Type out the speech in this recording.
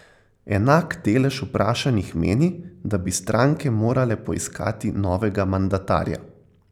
Enak delež vprašanih meni, da bi stranke morale poiskati novega mandatarja.